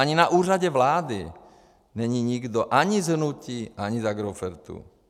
Ani na Úřadu vlády není nikdo ani z hnutí, ani z Agrofertuu.